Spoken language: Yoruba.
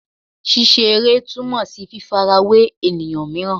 Ṣiṣere tumọ si fifarawe eniyan miiran